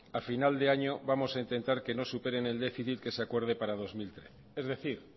a final de año vamos a intentar que no superen el déficit que se acuerde para dos mil trece es decir